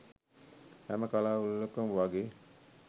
හැම කළා උලෙලකම වගේ